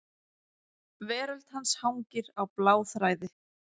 Veröld hans hangir á bláþræði.